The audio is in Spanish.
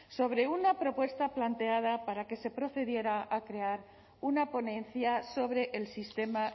sobre una propuesta planteada para que se procediera a crear una ponencia sobre el sistema